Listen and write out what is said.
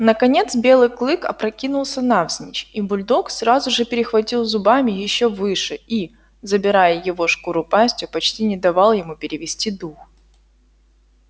наконец белый клык опрокинулся навзничь и бульдог сразу же перехватил зубами ещё выше и забирая его шкуру пастью почти не давал ему перевести дух